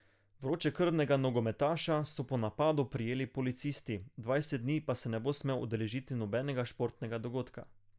Vročekrvnega nogometaša so po napadu prijeli policisti, dvajset dni pa se ne bo smel udeležiti nobenega športnega dogodka.